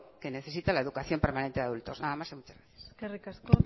que necesita la educación permanente de adultos nada más y muchas gracias eskerrik asko